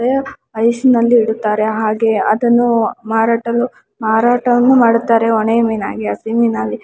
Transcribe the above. ಗೆ ಐಸ್ ನಲ್ಲಿ ಇಡುತ್ತಾರೆ ಹಾಗೆ ಅದನ್ನು ಮಾರಾಟನು ಮಾರಾಟವನ್ನು ಮಾಡುತ್ತಾರೆ ಒಣ ಮೀನಾಗಲಿ ಹಸಿ ಮೀನಾಗಲಿ.